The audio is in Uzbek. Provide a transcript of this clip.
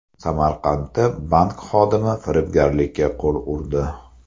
Samarqandda bank xodimi firibgarlikka qo‘l urdi.